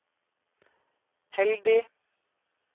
heldig